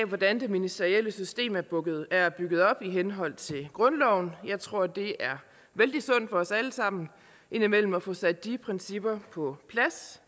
hvordan det ministerielle system er bygget op i henhold til grundloven jeg tror det er vældig sundt for os alle sammen indimellem at få sat de principper på plads